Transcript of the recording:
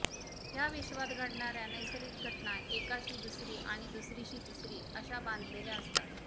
ह्या विश्वात घडणाऱ्या नैसर्गिक घटना एकाशी दुसरी आणि दुसरीशी तिसरी अशा बांधलेल्या असतात